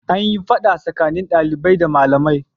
An yi fada tsakanin dalibai da malamai.